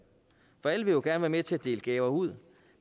alle vil jo gerne være med til at dele gaver ud